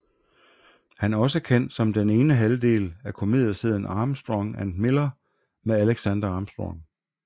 Han er også kendt som den ene halvdel af komedieserien Armstrong and Miller med Alexander Armstrong